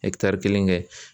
kelen kɛ.